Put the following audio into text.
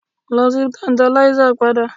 Lọ sí Tantalizer padà